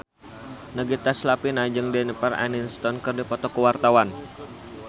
Nagita Slavina jeung Jennifer Aniston keur dipoto ku wartawan